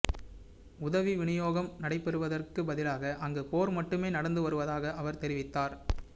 உதவி விநியோகம் நடைபெறுவதற்கு பதிலாக அங்கு போர் மட்டுமே நடந்து வருவதாக அவர் தெரிவித்தார்